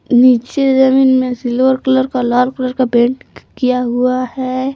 नीचे जमीन में सिल्वर कलर का लाल कलर का पेंट किया हुआ है।